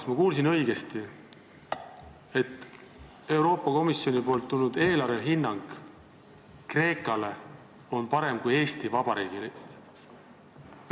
Kas ma kuulsin õigesti, et Euroopa Komisjonist tulnud eelarvehinnang Kreekale on parem kui Eesti Vabariigile?